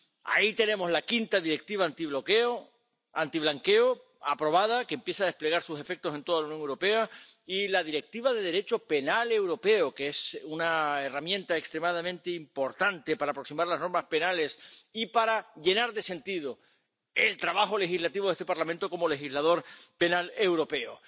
Ahí tenemos la quinta Directiva contra el blanqueo de capitales, adoptada, que empieza a desplegar sus efectos en toda la Unión Europea y la Directiva en materia de Derecho penal europeo, que es una herramienta extremadamente importante para aproximar las normas penales y para llenar de sentido el trabajo legislativo de este Parlamento como legislador penal europeo.